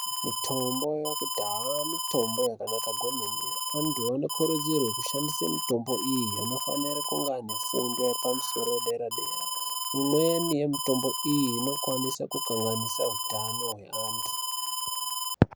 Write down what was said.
Mitombo yekudhaya mitombo yakanaka kwemene. Antu anokurudzirwe kushandise mitombo iyi. Anofanire kunge aine fundo yepamusoro yedera-dera. Imweni yemitombo iyi inokwanise kukanganise utano hweantu.